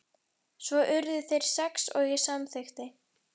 Svo urðu þeir sex og ég samþykkti.